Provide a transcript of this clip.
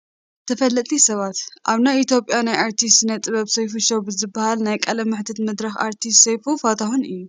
ተፈለጥቲ ሰባት፡- ኣብ ናይ ኢ/ያ ናይ ኣርትን ስነ ጥበብን ሶይፉ ሾው ብዝብሃል ናይ ቃለ መሕተት መድረኹ ኣርቲስት ሰይፉ ፋንታሁን እዩ፡፡